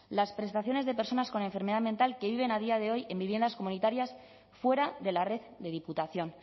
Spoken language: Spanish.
las prestaciones de personas con enfermedad mental que viven a día de hoy en viviendas comunitarias fuera de la red de diputación